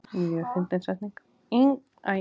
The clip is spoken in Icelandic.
Ingveldur Geirsdóttir: Hvernig smakkast svo strákar?